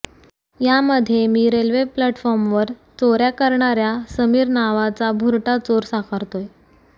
यामध्ये मी रेल्वे प्लॅटफॉर्मवर चोऱया करणाऱया समीर नावाचा भुरटा चोर साकारतोय